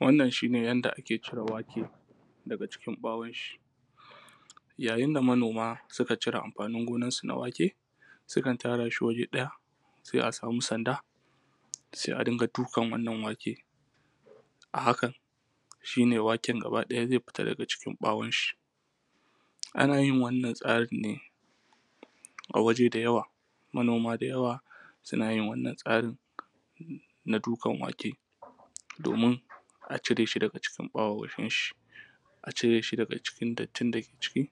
wannan shi ne yanda ake cire wake daga cikin ɓawonsi yayin da manoma suka cire amfanin gonarsu na wake sukan tara shi waje ɗaya sai a samu sanda sai a dinga dukan wannan wake a hakan shi ne waken gaba ɗaya zai fita gaba ɗaya daga ʧikin ɓawonshi ana: yin wannan tsarin ne a waje da yawa manoma da yawa suna yin wannan tsarin na dukan wake domin a cire shi daga jikin ɓawonshi a cire shi daga cikin dattin da ke ciki mai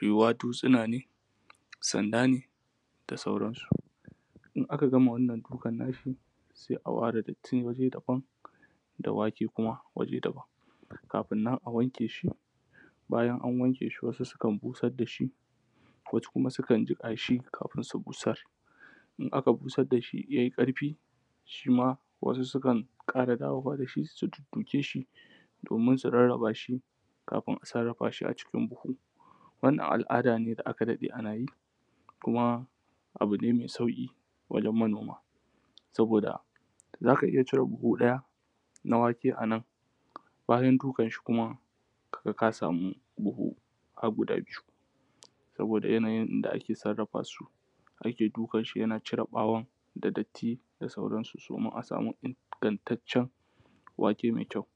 yiwuwa dutsina ne sanda ne da sauransu in aka gama wannan dukan nashi sai a ware datti waje daban da wake kuma waje daban kafin nan a wanke: shi bayan an wanke shi wasu sukan busar da shi wasu kuma sukan jiƙa shi kafin su busar in aka busar da shi ya yi ƙarfi shi ma wasu sukan ƙara dawowa da shi su dudduke shi domin su rarraba shi kafin a sarrafa shi a cikin buhu wannan al’ada ne da aka daɗe ana yi kuma abu ne mai sauƙi wajen manoma saboda za ka iya cire buhu ɗaya na wake ɗaya a nan bayan dukanshi kuma ka ga ka samu buhu har guda biyu saboda yanayin yanda ake sarrafa su ake dukanshi yana cire ɓawon da datti da sauransu su domin a samu ingantaccen wake mai kyau